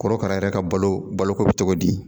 Korokara yɛrɛ ka balo balo ko be cogo di?